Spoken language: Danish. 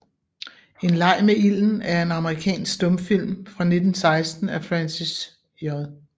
En Leg med Ilden er en amerikansk stumfilm fra 1916 af Francis J